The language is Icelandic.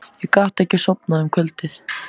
Ég gat ekki sofnað um kvöldið.